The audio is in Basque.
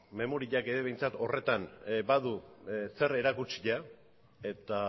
memoriak ere behintzat horretan badu zer erakutsia eta